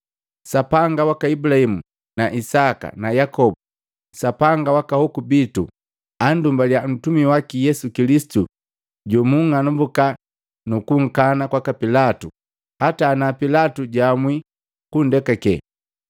Sapanga waka Ibulahimu na Isaka na Yakobu, Sapanga wa Ahoku bitu anndumbaliya mtumi waki Yesu Kilisitu jomunng'anambuka nukunkana kwaka Pilatu, hata ana Pilatu jaamwii kunndekake.